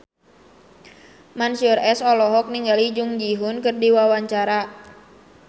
Mansyur S olohok ningali Jung Ji Hoon keur diwawancara